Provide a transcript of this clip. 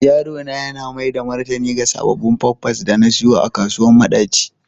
Yaro na yana maida martani ga sabbin pampas da na siyo a kasuwar madaci.